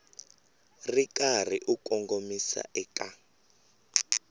ri karhi u kongomisa eka